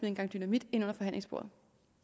en gang dynamit ind under forhandlingsbordet